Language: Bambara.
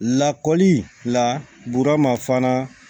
Lakɔli la bu mafaa